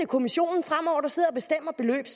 kommissionen